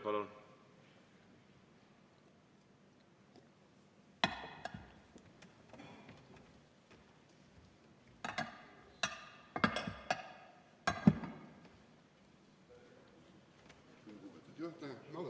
Kolm minutit palun juurde.